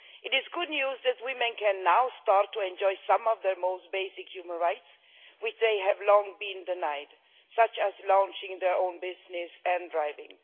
It is good news that women can now start to enjoy some of their most basic human rights which they have long been denied, such as launching their own business and driving.